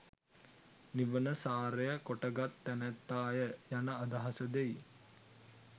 නිවන සාරය කොටගත් තැනැත්තාය යන අදහස දෙයි.